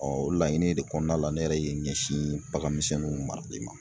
o laɲini de kɔnɔna la ne yɛrɛ ye ɲɛsin bagan misɛnninw marali ma.